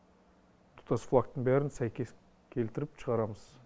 тұтас флагтың бәрін сәйкес келтіріп шығарамыз